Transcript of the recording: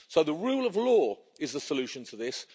So the rule of law is the solution to this.